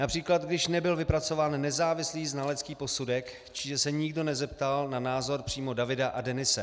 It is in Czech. Například když nebyl vypracován nezávislý znalecký posudek, že se nikdo nezeptal na názor přímo Davida a Denise.